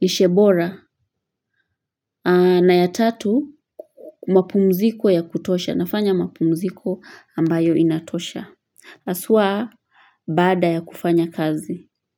lishe bora na ya tatu, mapumziko ya kutosha, nafanya mapumziko ambayo inatosha. Asaa baada ya kufanya kazi.